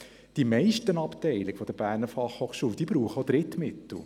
Die meisten Abteilungen der BFH benötigen Drittmittel.